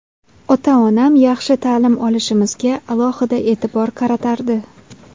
Ota-onam yaxshi ta’lim olishimizga alohida e’tibor qaratardi.